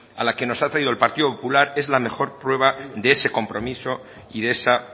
a la que nos ha traído el partido popular es la mejor prueba de ese compromiso y de esa